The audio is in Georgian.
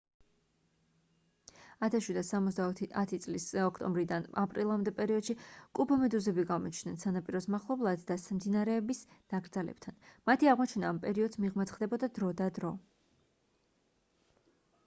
1770 წლის ოქტომბრიდან აპრილამდე პერიოდში კუბომედუზები გამოჩნდნენ სანაპიროს მახლობლად და მდინარეების ნაკრძალებთან მათი აღმოჩენა ამ პერიოდს მიღმაც ხდებოდა დრო და დრო